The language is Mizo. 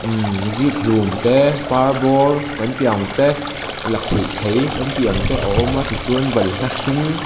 umm zikhlum te parbawr kan tih ang te lakhuih thei kan tih ang te a awm a tichuan balhla hring--